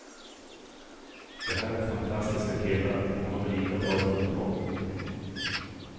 Det här är fantastiska killar och de är lika bra i fotboll.